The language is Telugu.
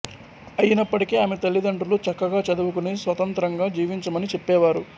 అయినప్పటికీ ఆమె తల్లితండ్రులు చక్కగా చదువుకుని స్వతంత్రంగా జీవించమని చెప్పేవారు